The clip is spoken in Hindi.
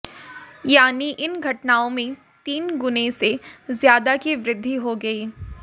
यानी इन घटनाओं में तीन गुने से ज्यादा की वृद्धि हो गई